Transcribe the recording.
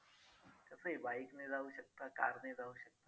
कसंही bike ने जाऊ शकता car ने जाऊ शकता.